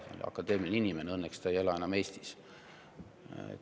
See oli akadeemiline inimene, õnneks ta ei ela enam Eestis.